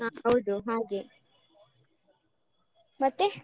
ಹ ಹೌದು ಹಾಗೆ ಮತ್ತೆ.